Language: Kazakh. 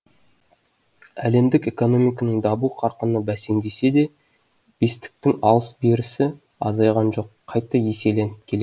әлемдік экономиканың даму қарқыны бәсеңдесе де бестіктің алыс берісі азайған жоқ қайта еселеніп келеді